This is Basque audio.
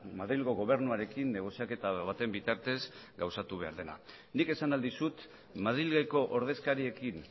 madrilgo gobernuarekin negoziaketa baten bitartez gauzatu behar dena nik esan ahal dizut madrileko ordezkariekin